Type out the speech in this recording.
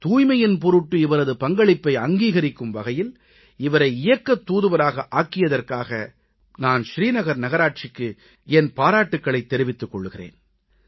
தூய்மையின் பொருட்டு இவரது பங்களிப்பை அங்கீகரிக்கும் வகையில் இவரை இயக்கத் தூதுவராக ஆக்கியதற்காக நான் ஸ்ரீநகர் நகராட்சிக்கு என் பாராட்டுகளைத் தெரிவித்துக் கொள்கிறேன்